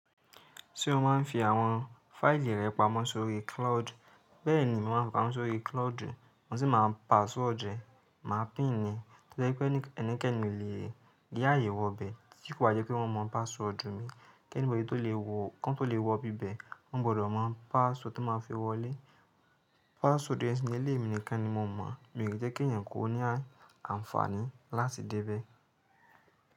Ṣé o máa ń fi àwọn fáìlì rẹ pamọ́ sórí cloud? Bẹ́ẹ̀ni, mo máa ń fi pamọ́ sórí cloud, mo sì máa ń password rẹ̀, mà pín ni. Torí pé ẹnikẹ́ni lè yá àyè wọ bẹ́ẹ̀ tí kò bá jẹ́ pé wọ́n mọ password mi. Kí anybody tó lè wọ kan tó lè wò ibi bẹ́, wọ́n gbọdọ̀ mọ password tán máa fi wọlé. Password yẹn émi nìkan ni mo mọ̀, mi ò kíi jẹ́ kí ẹ̀eyàn kó ní àǹfààní láti dé bẹ́ẹ̀.